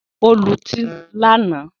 Ó lutí lánàá